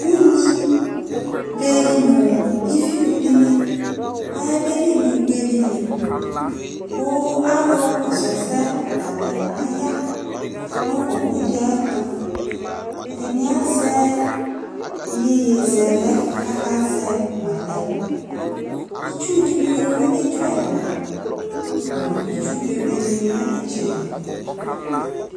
Ʊɣŋɩ ɓe ŋʊ ɩʋɩʊ dɩŋɩ aƴaɓelɩ ŋʊ ʊgbe dɩl Ƙʊ alʊ ƙɔsʊ ɛsɛ ata ŋɩ aƴa ŋʊ owʊ dɩ aƴɛtʊƐdɩŋɩ azɛ ɩƴoƴɩzɛlɛ ƙaƙa zɛ ma lɛ Ɩtsʊ dɩ mʊ ƴoʋoŋɛtsʊ ɛla ŋʊ ɩtsʊ ɓe ɓe ƴa ŋʊ ɩtsɛdɩ